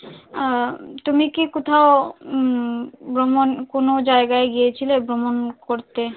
আহ তুমি কি কোথাও উম ভ্রমন কোন জায়গায় গিয়েছিলে ভ্রমণ করতে?